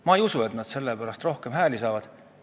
Ma ei usu küll, et nad selle pärast rohkem hääli saavad.